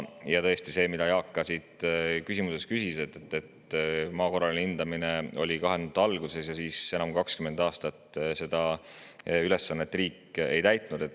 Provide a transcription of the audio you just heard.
Ja tõesti, Jaak ka oma küsimuses, et maa korraline hindamine oli 2000ndate alguses, aga siis enam kui 20 aastat riik seda ülesannet ei täitnud.